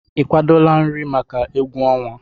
Ị kwadọla nri maka egwu ọnwa?